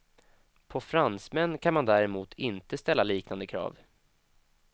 På fransmän kan man däremot inte ställa liknande krav.